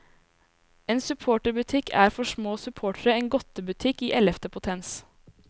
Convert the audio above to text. En supporterbutikk er for små supportere en godtebutikk i ellevte potens.